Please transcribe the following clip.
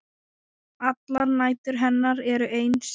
Allar nætur hennar eru eins.